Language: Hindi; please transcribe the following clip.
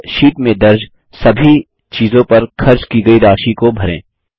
और शीट में दर्ज सभी चीज़ों पर खर्च की गयी राशि को भरें